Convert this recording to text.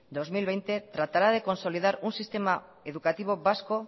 dos mil veinte tratará de consolidar un sistema educativo vasco